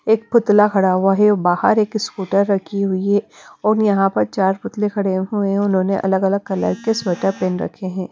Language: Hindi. एक पुतला खड़ा हुआ है। बाहर एक स्कूटर रखी हुई है और यहां पर चार पुतले खड़े हुए हैं उन्होंने अलग अलग कलर के स्वेटर पेहन रखें है।